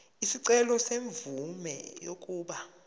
isicelo semvume yokuba